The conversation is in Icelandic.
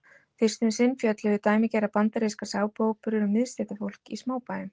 fyrst um sinn fjölluðu dæmigerðar bandarískar sápuóperur um miðstéttarfólk í smábæjum